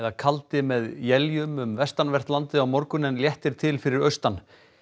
kaldi með éljum um vestanvert landið á morgun en léttir til fyrir austan